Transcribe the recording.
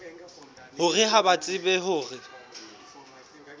hore ha ba tsebe hore